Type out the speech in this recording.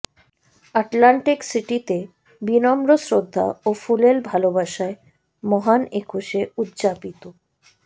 Atlantic সিটিতে বিনম্র শ্রদ্ধা ও ফুলেল ভালোবাসায় মহান একুশে উদযাপিত